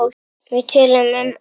Við töluðum um allt.